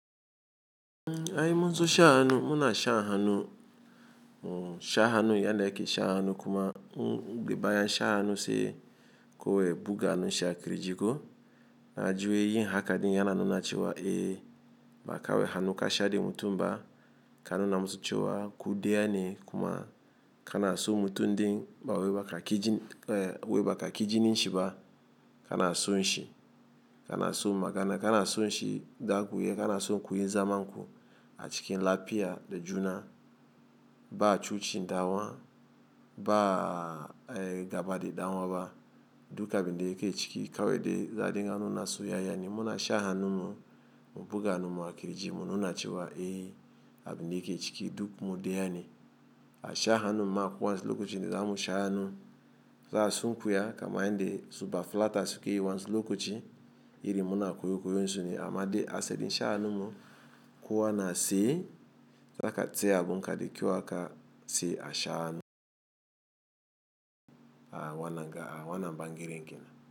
Ai munzo sha hanu muna sha hanu, o sha hanu ya ne ke sha hanu kuma mgbe baya sha hanu si ko we buga nu sha kirijiko. Na ji wai yin haka din yana nuna cewa e, ba kawai hannu ka sha da mutum ba ka nuna musu cewa ku daya ni kuma ka na so mutum din ba we baka kijin, e we baka kijinin shi ba ka na son shi, ka na so magana ka na son shi zakuyi ka na so kuyi zaman ku a cikin lafia da juna ba a cucin ɗan'uwa ba, e gaba da ɗan'uwa ba duk abin da yake ciki. Kawai da za'a dinga nuna soyayya ni muna shan hannun mu buga hannun mu a kirji mu nuna cewa eh abin da yake ciki duk mu daya ne A sha hannu ma kowa lokacin da zamu sha hannu, za sunkuya kama yanda su ba fulata suke yi wani lokaci iri muna koyo koyon sune. Amma dai as edin sha hanu mu kuwa na tsaye, za ka tsaya abun ka da kyau haka sai a sha hannu. A wannan ga a wannan ɓangaren kenan.